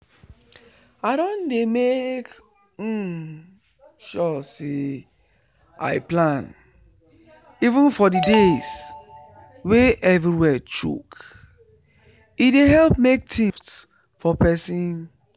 i don dey make um sure say i plan even for the days wey everywhere choke e dey help make things soft for person